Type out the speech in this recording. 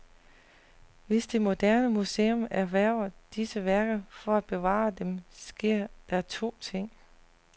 Hvis det moderne museum erhverver disse værker for at bevare dem, sker der to ting.